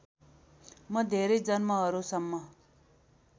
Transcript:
म धेरै जन्महरूसम्म